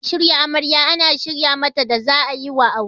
Ɗakin shirya amarya ana shirya mata da za'ayiwa aure.